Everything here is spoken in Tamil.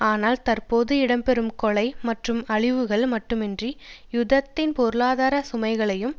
ஆனால் தற்போது இடம்பெறும் கொலை மற்றும் அழிவுகள் மட்டுமன்றி யுத்தத்தின் பொருளாதார சுமைகளையும்